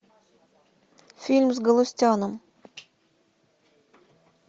фильм с галустяном